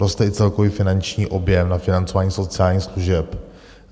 Roste i celkový finanční objem na financování sociálních služeb.